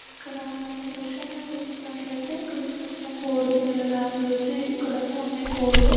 ఇక్కడ మన ఈ దృశ్యంలో చూసినట్లయితే ఇక్కడ చిన్న చిన్న కోడి పిల్లలు అయితే ఇక్కడ ఉన్నాయి కొడ్లు.